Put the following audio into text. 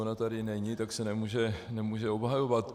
Ona tady není, tak se nemůže obhajovat.